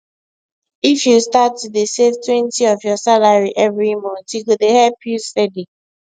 if you start to dey savetwentyof your salary every month e go dey help you steady